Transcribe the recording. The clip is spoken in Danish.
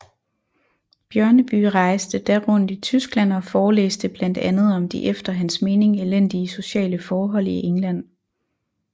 Bjørneby rejste da rundt i Tyskland og forelæste blandt andet om de efter hans mening elendige sociale forhold i England